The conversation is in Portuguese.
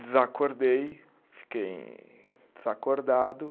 Desacordei, fiquei desacordado.